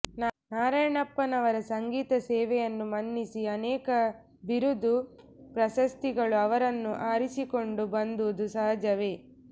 ನಾರಾಯಣಪ್ಪನವರ ಸಂಗೀತ ಸೇವೆಯನ್ನು ಮನ್ನಿಸಿ ಅನೇಕ ಬಿರುದು ಪ್ರಶಸ್ತಿಗಳು ಅವರನ್ನು ಅರಸಿಕೊಂಡು ಬಂದುದು ಸಹಜವೇ